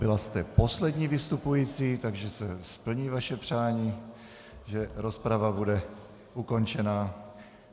Byla jste poslední vystupující, takže se splní vaše přání, že rozprava bude ukončena.